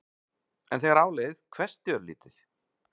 En þegar á leið hvessti örlítið.